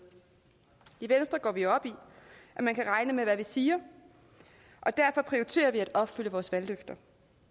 i venstre går vi op i at man kan regne med hvad vi siger og derfor prioriterer vi at opfylde vores valgløfter